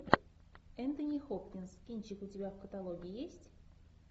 энтони хопкинс кинчик у тебя в каталоге есть